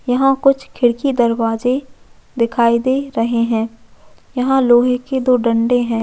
वहाँ कुछ खिड़की दरवाजे दिखाई दे रहै है यहाँ लोहै के दो डंडे है।